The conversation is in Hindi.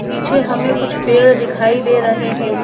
पीछे हमें कुछ पेड़ दिखाई दे रहे हैं।